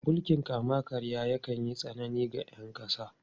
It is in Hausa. Mulkin kama-karya yakan yi tsanani ga ’yan kasa.